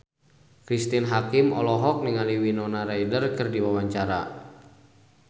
Cristine Hakim olohok ningali Winona Ryder keur diwawancara